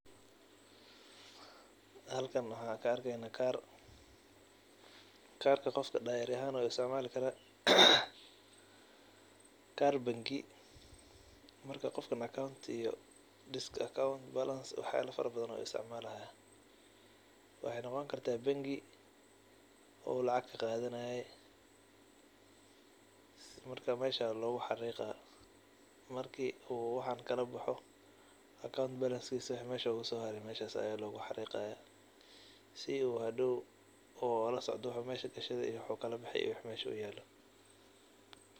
Haljan waxan ka arkeyna kaar, kaarka qofka diary[cs[ ahan ayuu u isticmaali kara, kaar bengi marka qofkan account iyo disk account balance waxyaba fara badan ayu u isticmaalaya, waxay noqon karta bengi uu lacag kaqadanaye marka mesha logu xariiqa, markii uu waxan kala boxo account balance kiisa wixii mesha oguso hare meshas aya logu hariiqaya si uu hadhow ola socdo wuxuu mesha gashade, wuxuu kala bexe iyo wixii mesha uyaalo